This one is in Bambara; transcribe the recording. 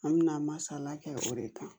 An mina masala kɛ o de kan